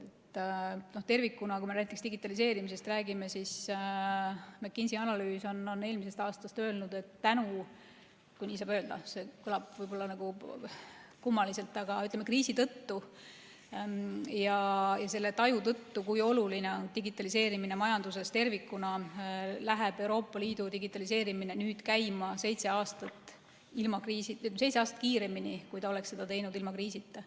Näiteks, digitaliseerimisest rääkides, eelmisel aastal tehtud McKinsey analüüsis on öeldud, et tänu kriisile – nii ei saa tegelikult öelda, see kõlab kummaliselt –, ütleme, kriisi tõttu ja selle taju tõttu, kui oluline on digitaliseerimine majanduses tervikuna, läheb Euroopa Liidu digitaliseerimine nüüd käima seitse aastat kiiremini, kui ta oleks seda teinud ilma kriisita.